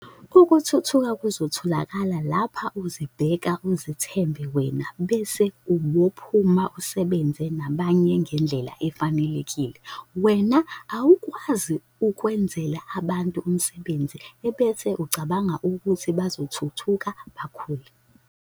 Ukuthuthuka kuzotholakala lapho uzibheka uzithembe wena bese ubophuma usebenze nabanye ngendlela efanelekile. Wena awukwazi ukwenzela abantu umsebenzi bese ucabanga ukuthi bazothuthuka bakhule.